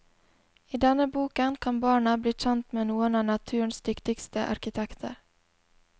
I denne boken kan barna bli kjent med noen av naturens dyktigste arkitekter.